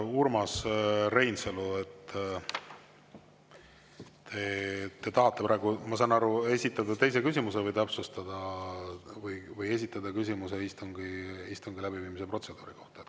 Urmas Reinsalu, te tahate praegu, ma saan aru, esitada teise küsimuse või täpsustada või esitada küsimuse istungi läbiviimise protseduuri kohta.